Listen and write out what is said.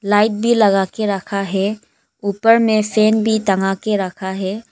Light भी लगा के रखा है ऊपर में फैन भी तंगा के रखा है।